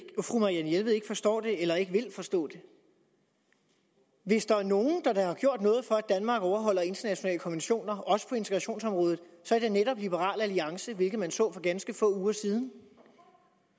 fru marianne jelved ikke forstår det eller ikke vil forstå det hvis der er nogen der da har gjort noget for at danmark overholder internationale konventioner også på integrationsområdet så er det netop liberal alliance hvilket man så for ganske få uger siden